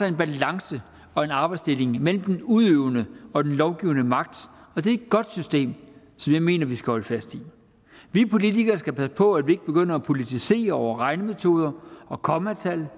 en balance og en arbejdsdeling mellem den udøvende og den lovgivende magt og det er et godt system som jeg mener vi skal holde fast i vi politikere skal passe på at vi ikke begynder at politisere over regnemetoder og kommatal